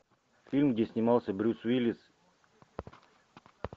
фильм где снимался брюс уиллис